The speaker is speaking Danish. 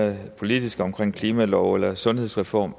mere politiske omkring klimalov eller sundhedsreform